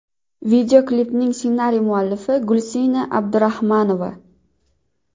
Videoklipning ssenariy muallifi Gulsina Abdurahmanova.